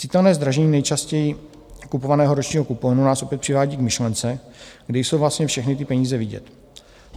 Citelné zdražení nejčastěji kupovaného ročního kuponu nás opět přivádí k myšlence, kde jsou vlastně všechny ty peníze vidět.